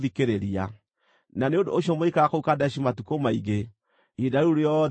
Na nĩ ũndũ ũcio mũgĩikara kũu Kadeshi matukũ maingĩ, ihinda rĩu rĩothe mwaikarire kuo.